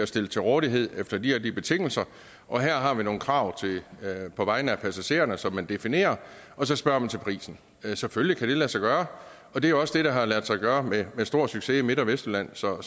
stillet til rådighed efter de og de betingelser og her har vi nogle krav på vegne af passagererne som man definerer og så spørger man til prisen selvfølgelig kan det lade sig gøre og det er også det der har ladet sig gøre med stor succes i midt og vestjylland så